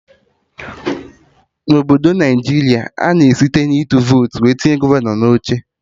Na obodo Naijiria, a na-eji site na ịtụ votu tinye gọvanọ na oche